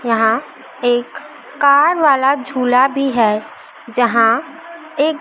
यहां एक कार वाला झूला भी है जहां एक--